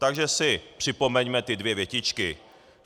Takže si připomeňme ty dvě větičky.